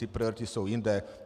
Ty priority jsou jinde.